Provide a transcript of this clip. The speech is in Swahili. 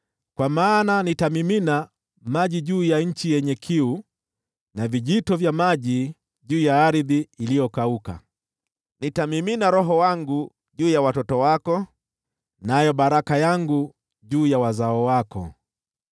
Kwa maana nitamimina maji juu ya nchi yenye kiu, na vijito vya maji juu ya ardhi iliyokauka; nitamimina Roho wangu juu ya watoto wako, nayo baraka yangu juu ya wazao wako.